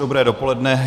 Dobré dopoledne.